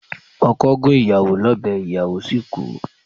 Okọ̀ gún ìyàwó lọ́bẹ̀ ìyàwó sì kú.